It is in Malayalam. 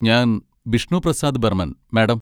ഞാൻ ബിഷ്ണു പ്രസാദ് ബർമൻ, മാഡം.